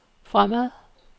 fremad